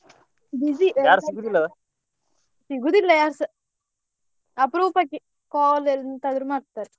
Busy ಸಿಗುದಿಲ್ಲ ಯಾರುಸಾ ಅಪರೂಪಕ್ಕೆ call ಎಂತಾದ್ರೂ ಮಾಡ್ತಾರೆ.